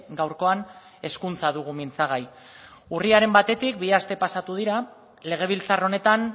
gaurkoan hezkuntza dugu mintzagai urriaren batetik bi aste pasatu dira legebiltzar honetan